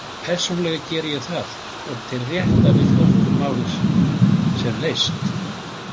Persónulega geri ég það og tel rétt að við flokkum málið sem leyst.